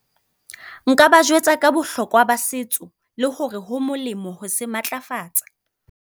Nka ba jwetsa ka bohlokwa ba setso, le hore ho molemo ho se matlafatsa.